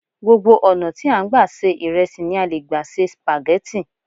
Gbogbo ọ̀nà tí a n gba se ìrẹsì ni a leè gbà se spaghetti